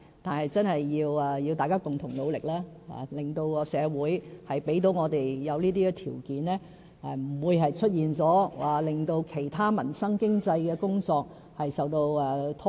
可是，這真的需要大家共同努力，令社會具備條件，也不會令其他民生及經濟的工作受到拖延。